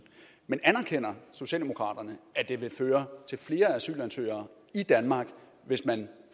men anerkender socialdemokraterne at det vil føre til flere asylansøgere i danmark hvis man